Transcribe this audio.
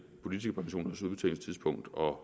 og at